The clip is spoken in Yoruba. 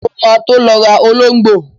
Mo ma tó lọ rà ológbò.